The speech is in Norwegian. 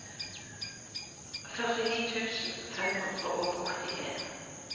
førtini tusen fem hundre og åttien